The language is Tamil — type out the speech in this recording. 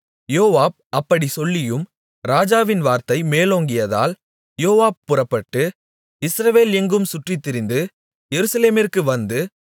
யோவாப் அப்படிச் சொல்லியும் ராஜாவின் வார்த்தை மேலோங்கியதால் யோவாப் புறப்பட்டு இஸ்ரவேல் எங்கும் சுற்றித்திரிந்து எருசலேமிற்கு வந்து